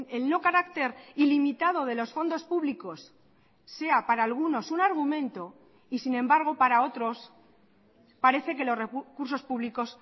el no carácter ilimitado de los fondos públicos sea para algunos un argumento y sin embargo para otros parece que los recursos públicos